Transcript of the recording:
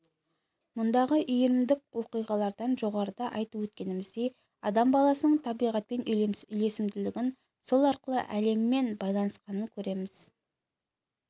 мұндағы иірімдік оқиғалардан жоғарыда айтып өткеніміздей адам баласының табиғатпен үйлесімділігін сол арқылы әлеммен байланысқанын көреміз